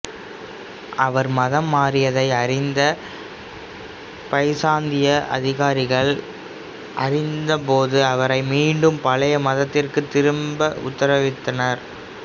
அவர் மதம் மாறியதை அறிந்த பைசாந்திய அதிகாரிகள் அறிந்தபோது அவரை மீண்டும் பழைய மதத்திற்குத் திரும்ப உத்தரவிட்டனர்